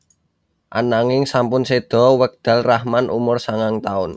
Ananging sampun séda wekdal Rahman umur sangang taun